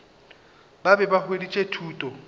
ba be ba hweditše thuto